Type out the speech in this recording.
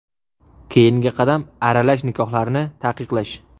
Keyingi qadam aralash nikohlarni taqiqlash.